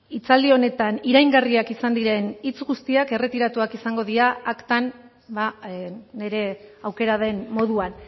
hitzaldi honetan iraingarriak izan diren hitz guztiak erretiratuak izango dira aktan nire aukera den moduan